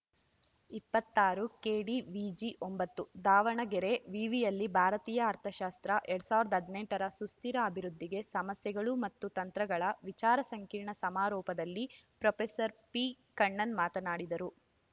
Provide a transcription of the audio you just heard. ಇಪ್ಪತ್ತಾರು ಕೆಡಿವಿಜಿ ಒಂಬತ್ತು ದಾವಣಗೆರೆ ವಿವಿಯಲ್ಲಿ ಭಾರತೀಯ ಅರ್ಥಶಾಸ್ತ್ರ ಎರಡ್ ಸಾವಿರದ ಹದಿನೆಂಟರ ಸುಸ್ತಿರ ಅಭಿವೃದ್ಧಿಗೆ ಸಮಸ್ಯೆಗಳು ಮತ್ತು ತಂತ್ರಗಳ ವಿಚಾರ ಸಂಕಿರಣ ಸಮಾರೋಪದಲ್ಲಿ ಪ್ರೊಫೆಸರ್ ಪಿಕಣ್ಣನ್‌ ಮಾತನಾಡಿದರು